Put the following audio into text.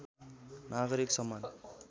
नागरिक सम्मान